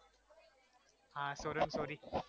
હા છોરો ને છોરી કેવાય